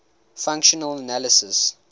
functional analysis